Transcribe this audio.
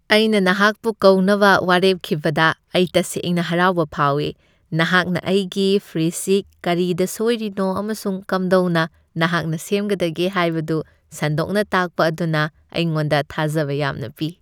ꯑꯩꯅ ꯅꯍꯥꯛꯄꯨ ꯀꯧꯅꯕ ꯋꯥꯔꯦꯞꯈꯤꯕꯗ ꯑꯩ ꯇꯁꯦꯡꯅ ꯍꯔꯥꯎꯕ ꯐꯥꯎꯏ, ꯅꯍꯥꯛꯅ ꯑꯩꯒꯤ ꯐ꯭ꯔꯤꯖꯁꯤ ꯀꯔꯤꯗ ꯁꯣꯢꯔꯤꯅꯣ ꯑꯃꯁꯨꯡ ꯀꯝꯗꯧꯅ ꯅꯍꯥꯛꯅ ꯁꯦꯝꯒꯗꯒꯦ ꯍꯥꯢꯕꯗꯨ ꯁꯟꯗꯣꯛꯅ ꯇꯥꯛꯄ ꯑꯗꯨꯅ ꯑꯩꯉꯣꯟꯗ ꯊꯥꯖꯕ ꯌꯥꯝꯅ ꯄꯤ꯫